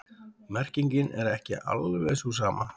Merkingin er ekki alveg sú sama.